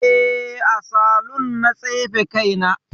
Eh, a saloon na tsefe kaina